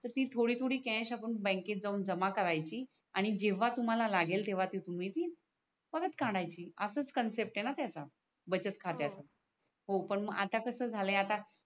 तर ती थोडी थोडी कॅश आपण बँक जाऊन जमा कऱ्याची आणि जेव्हा तुम्हाला लागेल तेव्हा तुम्ही ती परत काड्याची असच कन्सेप्ट आहे णा त्याच्या बचत खात्याचा हो हो पण आता कस झालय आता